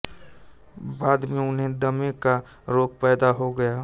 बाद में उन्हें दमे का रोग पैदा हो गया